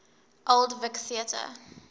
old vic theatre